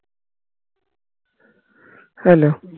hello